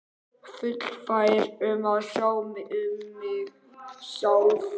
Fullfær um að sjá um mig sjálf.